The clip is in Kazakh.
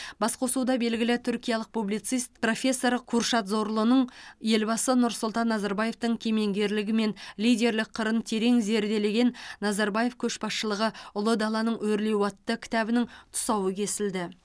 басқосуда белгілі түркиялық публицист профессор куршад зорлуның елбасы нұрсұлтан назарбаевтың кемеңгерлігі мен лидерлік қырын терең зерделеген назарбаев көшбасшылығы ұлы даланың өрлеуі атты кітабының тұсауы кесілді